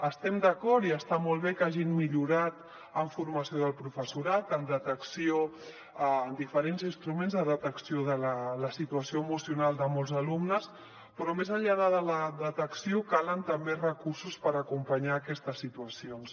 estem d’acord i està molt bé que hagin millorat en formació del professorat en detecció en diferents instruments de detecció de la situació emocional de molts alumnes però més enllà de la detecció calen també recursos per acompanyar aquestes situacions